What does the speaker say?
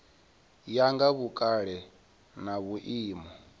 ya nga vhukale na vhuimo